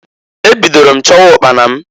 Ebidoro m chọwa ụkpana m.